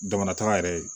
Damatɛrɛ